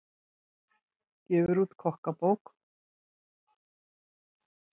Gefur út kokkabók